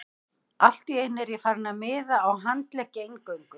Allt í einu er ég farinn að miða á handleggi eingöngu.